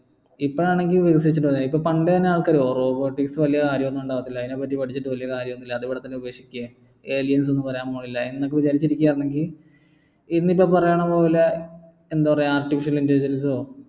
ഇപ്പോൾ ആണെങ്കി ഇപ്പൊ പണ്ട് എന്നെ ആൾകാർ ഓ robotics വെല്യ കാര്യൊന്നു ഉണ്ടാവത്തില്ല അതിനെപ്പറ്റി പഠിച്ചിട്ട് വലിയ കാര്യമൊന്നുമില്ല അതുപോലെതന്നെ aliens ഒന്നു വരാൻ പോകുന്നില്ല എന്നൊക്കെ വിചാരിച്ചിരിക്കുകയാണെങ്കിൽ ഇന്നിപ്പോ പറയണ പോലെ എന്താ പറയാ artificial intelligence ഓ